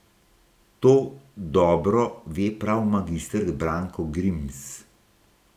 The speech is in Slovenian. To dobro ve prav magister Branko Grims.